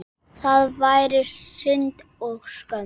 Það væri synd og skömm.